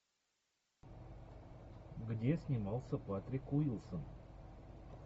где снимался патрик уилсон